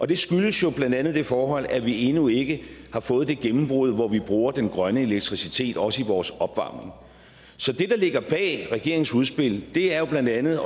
det skyldes blandt andet det forhold at vi endnu ikke har fået det gennembrud hvor vi bruger den grønne elektricitet også i vores opvarmning så det der ligger bag regeringens udspil er blandt andet at